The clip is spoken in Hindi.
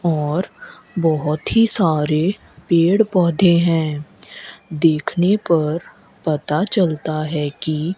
और बहुत ही सारे पेड़ पौधे हैं देखने पर पता चलता है कि --